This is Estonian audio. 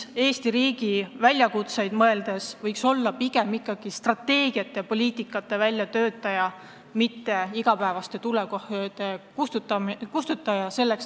Eesti riigi väljakutseid arvestades võiks minister olla pigem strateegiate ja poliitikate väljatöötaja, mitte igapäevaste tulekahjude kustutaja.